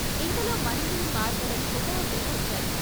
ఇంతలో మందీ మార్బలం హుటాహుటిన వచ్చారు.